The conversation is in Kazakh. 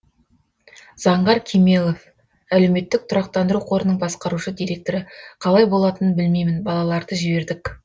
заңғар кемелов әлеуметтік тұрақтандыру қорының басқарушы директоры қалай болатынын білмеймін балаларды жібердік